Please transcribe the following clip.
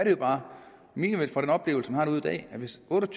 er bare milevidt fra den oplevelse man har derude i dag hvis otte og